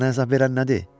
Sənə əzab verən nədir?